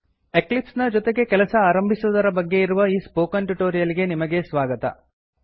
Eclipse ನ ಜೊತೆಗೆ ಕೆಲಸ ಆರಂಭಿಸುವುದರ ಬಗ್ಗೆ ಇರುವ ಈ ಸ್ಪೋಕನ್ ಟ್ಯುಟೋರಿಯಲ್ ಗೆ ನಿಮಗೆ ಸ್ವಾಗತ